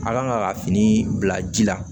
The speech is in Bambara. A kan ka fini bila ji la